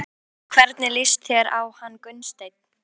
Og hvernig líst þér á hann Gunnsteinn?